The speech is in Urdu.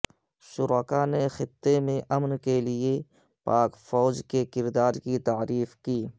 شرکاء نے خطے میں امن کیلئے پاک فوج کے کردار کی تعریف کی